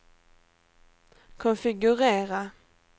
konfigurera